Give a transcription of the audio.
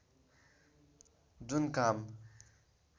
जुन काम